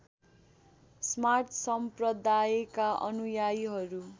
स्मार्त सम्प्रदायका अनुयायीहरू